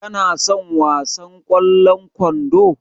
Ka na son wasan ƙwallon kwando?